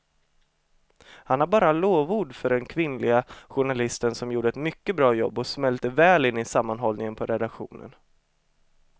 Han har bara lovord för den kvinnliga journalisten som gjorde ett mycket bra jobb och smälte väl in i sammanhållningen på redaktionen.